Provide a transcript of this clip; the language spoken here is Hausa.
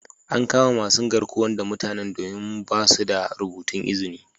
An kama masun garkuwan da mutanen domin ba'su da rubutun izni.